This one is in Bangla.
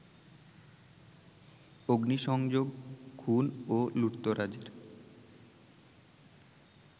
অগ্নিসংযোগ, খুন ও লুটতরাজের